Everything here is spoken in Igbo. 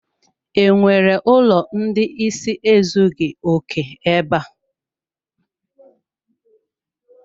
E nwere ụlọ ndị ịsị ezughi oke ebe a?